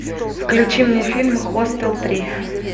включи мне фильм хостел три